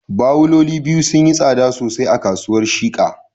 Bawuloli biyu sun yi tsada sosai a kasuwar Shika